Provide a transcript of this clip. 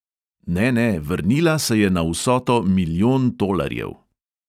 Ne, ne, vrnila se je na vsoto milijon tolarjev!